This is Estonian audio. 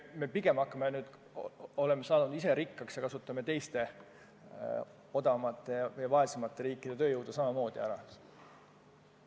Me pigem hakkame nüüd, kui oleme rikkaks saanud, ise kasutame teiste, odavamate ja vaesemate riikide tööjõudu samamoodi ära.